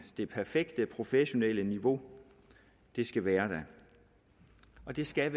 det perfekte professionelle niveau det skal være der og det skal